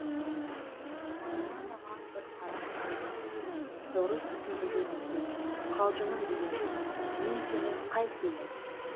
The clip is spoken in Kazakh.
манана маған бір қарап қойды мені дұрыс түсінді дегендей қалжыңым дегендей мен сені қайтейін